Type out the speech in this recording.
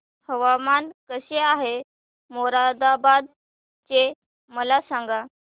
हवामान कसे आहे मोरादाबाद चे मला सांगा